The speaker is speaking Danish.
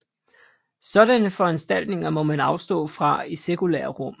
Sådanne foranstaltninger må man afstå fra i sekulære rum